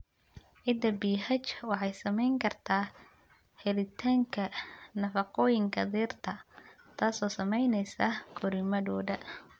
Ciidda pH waxay saamayn kartaa helitaanka nafaqooyinka dhirta, taasoo saamaynaysa koriimadooda.